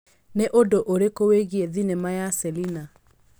Nĩ ũndũ ũrĩkũ wĩgiĩ thenema ya Selina